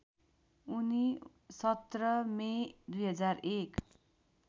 उनी १७ मे २००१